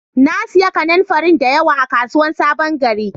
Na siya kananfarin da yawa a kasuwan sabon gari